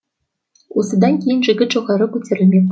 осыдан кейін жігіт жоғары көтерілмек